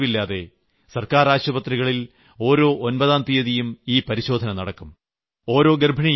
ഒരു പൈസപോലും ചെലവില്ലാതെ സർക്കാർ ആശുപത്രികളിൽ ഓരോ ഒമ്പതാം തീയതിയും ഈ പരിശോധന നടക്കും